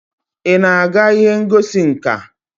Ị na-aga ihe ngosi nka?